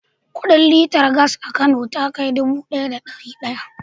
Kudin liter gas a Kano ta kai dubu ɗaya da ɗari ɗaya.